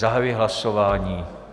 Zahajuji hlasování.